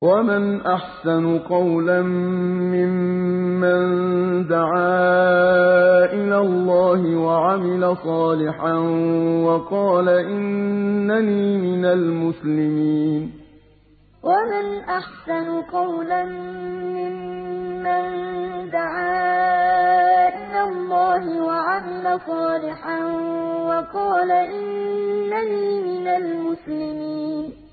وَمَنْ أَحْسَنُ قَوْلًا مِّمَّن دَعَا إِلَى اللَّهِ وَعَمِلَ صَالِحًا وَقَالَ إِنَّنِي مِنَ الْمُسْلِمِينَ وَمَنْ أَحْسَنُ قَوْلًا مِّمَّن دَعَا إِلَى اللَّهِ وَعَمِلَ صَالِحًا وَقَالَ إِنَّنِي مِنَ الْمُسْلِمِينَ